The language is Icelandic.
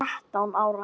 Ég var þrettán ára.